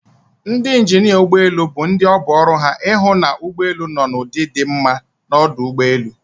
Ndị injinịa ụgbọelu bụ ndị ọ bụ ọrụ ha ịhụ na ụgbọelu nọ n'ụdị di mma n'ọdụ ụgbọelu